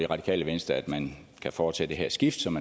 radikale venstre at man kan foretage det her skift som